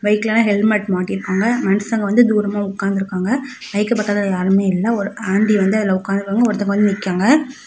பைக்ல ஹெல்மெட் மாட்டிருக்காங்க மனுஷங்க வந்து தூரமா உட்காந்துருக்காங்க பைக் பக்கத்துல யாருமே இல்ல ஒரு ஆன்ட்டி வந்து அதுல உக்காந்துருக்காங்க ஒருத்தங்க வந்து நிக்காங்க.